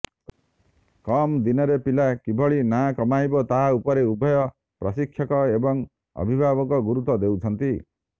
କମ୍ ଦିନରେ ପିଲା କିଭଳି ନଁା କମାଇବ ତାହା ଉପରେ ଉଭୟ ପ୍ରଶିକ୍ଷକ ଏବଂ ଅଭିଭାବକ ଗୁରୁତ୍ବ ଦେଉଛନ୍ତି